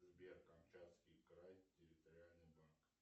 сбер камчатский край территориальный банк